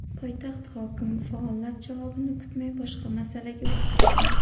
Poytaxt hokimi faollar javobini kutmay boshqa masalaga o‘tib ketdi.